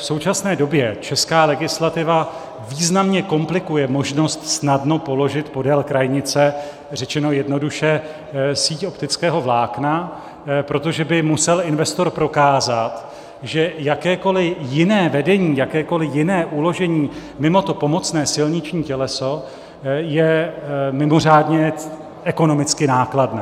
V současné době česká legislativa významně komplikuje možnost snadno položit podél krajnice, řečeno jednoduše, síť optického vlákna, protože by musel investor prokázat, že jakékoliv jiné vedení, jakékoliv jiné uložení mimo to pomocné silniční těleso je mimořádně ekonomicky nákladné.